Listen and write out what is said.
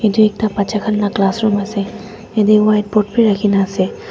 edu ekta bacha khan la classroom ase yate whiteboard bi rakhina ase.